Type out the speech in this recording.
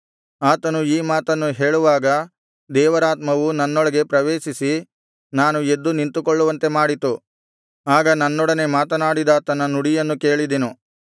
ಆತನು ಈ ಮಾತನ್ನು ಹೇಳುವಾಗ ದೇವರಾತ್ಮವು ನನ್ನೊಳಗೆ ಪ್ರವೇಶಿಸಿ ನಾನು ಎದ್ದು ನಿಂತುಕೊಳ್ಳುವಂತೆ ಮಾಡಿತು ಆಗ ನನ್ನೊಡನೆ ಮಾತನಾಡಿದಾತನ ನುಡಿಯನ್ನು ಕೇಳಿದೆನು